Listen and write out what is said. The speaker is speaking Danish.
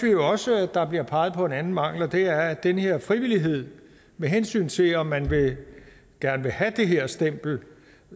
også at der bliver peget på en anden mangel og det er at den her frivillighed med hensyn til om man gerne vil have det her stempel